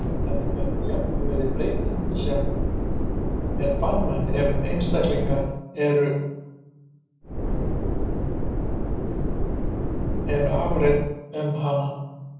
Þetta gæti jafnvel verið breyting sem er banvæn ef einstaklingur er arfhreinn um hana.